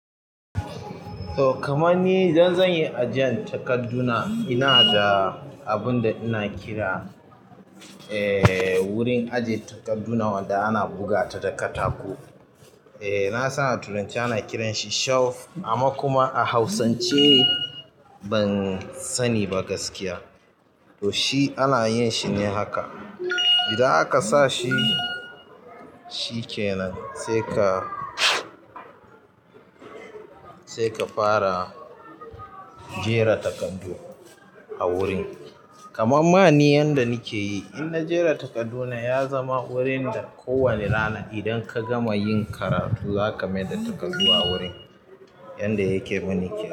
To, kaman ni idan zan yi ajiyan takadduna ina da abun da ina kira, eh, wurin ajiye takadduna wanda ana buga ta da katako. Eh, na san a turanci ana kiran shi shelf amma kuma a hausance ban sani ba gaskiya. To shi ana yin shi ne haka, idan aka sa shi, shi kenan sai ka, sai ka fara jera takardu a wurin. Kaman mani yanda nake yi, in na jera takarduna ya zama wurin da kowane rana idan ka gama yin karatu za ka maida takardu a wurin yanda yake muni ke.